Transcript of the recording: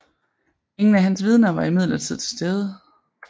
Ingen af hans vidner var imidlertid til stede